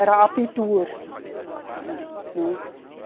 Era abitur. Tá. Né?